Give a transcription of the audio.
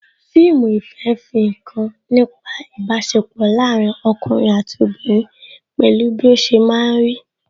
Fíìmù ìfẹ́ fi nkan nípa ibasepo láàárín ọkùnrin àti obìnrin pẹ̀lú bí ó ṣe máa ń rí